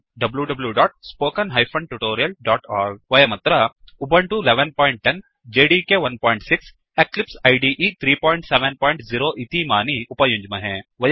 httpwwwspoken tutorialओर्ग वयमत्र Ubuntu 1110 JDK 16 Eclipse इदे 370 इतीमानि उपयुञ्ज्महे